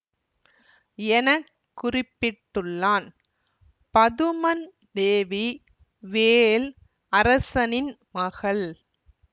என குறிப்பிட்டுள்ளான் பதுமன் தேவி வேள் அரசனின் மகள்